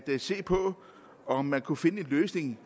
se på om man kunne finde en løsning